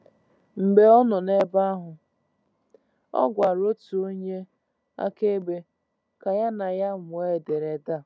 Mgbe ọ nọ n’ebe ahụ, ọ gwara otu onye akaebe ka ya na ya mụọ ederede a.